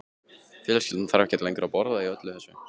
Fjölskyldan þarf ekki lengur að borða öll í einu.